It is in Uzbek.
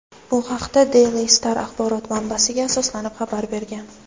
Bu haqda "Daily Star" axborot manbasiga asoslanib xabar bergan.